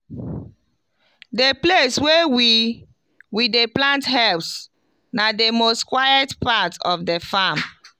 the place wey we we dey plant herbs na the most quiet part of the farm.